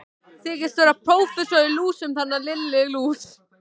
Þykistu vera prófessor í lúsum, þarna Lilla lús!